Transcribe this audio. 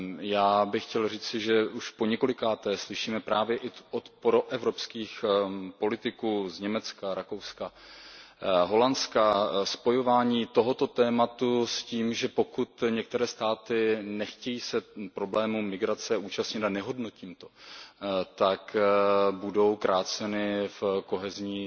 Já bych chtěl říci, že už po několikáté slyšíme právě i od proevropských politiků z Německa, Rakouska, Holandska spojování tohoto tématu s tím, že pokud se některé státy nechtějí problémů migrace účastnit, a nehodnotím to, tak budou kráceny v kohezních